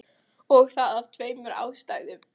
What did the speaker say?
Og það af tveimur ástæðum.